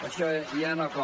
això ja no cola